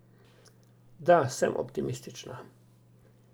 Da, sem optimistična.